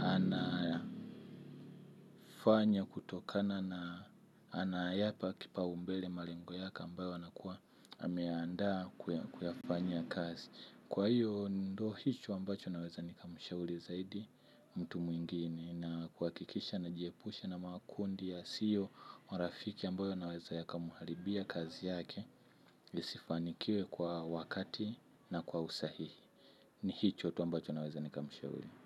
anafanya kutokana na anayapa kipaumbele malengo yake ambayo anakuwa ameyandaa kuyafanyia kazi. Kwa hiyo ndo hicho ambacho naweza nikamshauri zaidi mtu mwingine. Na kuhakikisha na jiepusha na makundi yasio marafiki ambayo yanaweza yakamharibia kazi yake isifanikiwe kwa wakati na kwa usahihi. Ni hicho tu ambacho naweza nikamshauri.